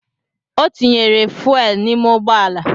Ọ tinyere fuuel n’ime ụgbọala